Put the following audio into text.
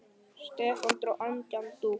Stefán dró andann djúpt.